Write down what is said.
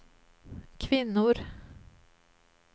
kvinnor